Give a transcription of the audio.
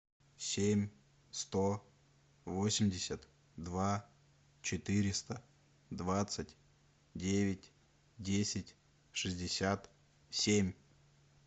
семь сто восемьдесят два четыреста двадцать девять десять шестьдесят семь